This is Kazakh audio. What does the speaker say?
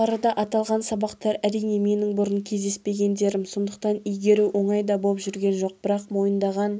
жоғарыда аталған сабақтар әрине менің бұрын кездеспегендерім сондықтан игеру оңай да боп жүрген жоқ бірақ мойындаған